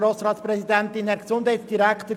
Kommissionssprecher der FiKo.